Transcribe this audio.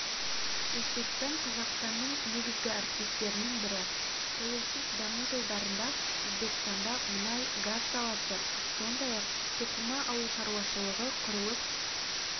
өзбекстан қазақстанның негізгі әріптестерінің бірі тәуелсіз даму жылдарында өзбекстанда мұнай-газ саласы сондай-ақ тоқыма ауыл шаруашылығы құрылыс